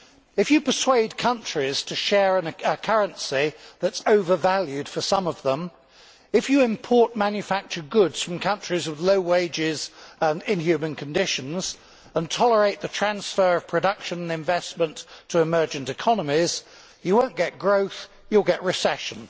If you persuade countries to share a currency that is over valued for some of them, if you import manufactured goods from countries of low wages and inhuman conditions and tolerate the transfer of production and investment to emergent economies, you will not get growth, you will get recession.